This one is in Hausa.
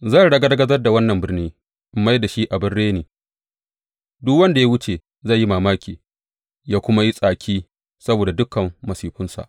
Zan ragargazar da wannan birni in mai da shi abin reni, duk wanda ya wuce zai yi mamaki ya kuma yi tsaki saboda dukan masifunsa.